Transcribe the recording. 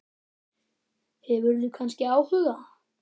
Hefurðu kannski áhuga?